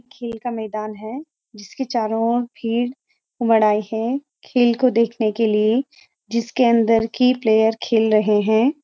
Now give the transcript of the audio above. खेल का मैदान है जिसके चारो ओर भीड़ उमड़ आई हैं खेल को देखने के लिए जिसके अंदर की प्‍लेयर खेल रहे हैं।